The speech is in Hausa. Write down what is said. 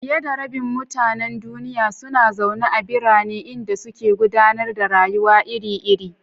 Fiye da rabin mutanen duniya suna zaune a birane, inda suke gudanar da rayuwa iri-iri.